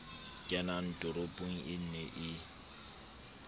kenang toropong e ne e